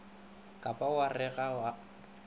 ka ba wa re ga